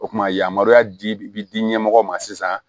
O kumana yamaruya di bɛ di ɲɛmɔgɔ ma sisan